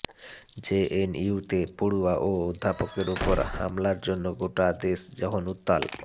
জেএনইউতে পড়ুয়া ও অধ্যাপকদের উপর হামলার জন্য গোটা দেশ যখন উত্তাল